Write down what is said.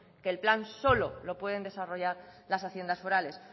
que el plan solo lo pueden desarrollar las haciendas forales